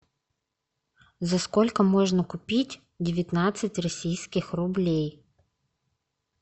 за сколько можно купить девятнадцать российских рублей